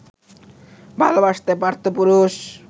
ভালোবাসতে পারতো পুরুষ